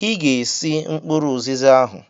Ị ga-esi mkpụrụ ụzịza ahụ!